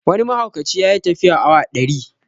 Wani mahaukaci ya yi tafiya awa ɗari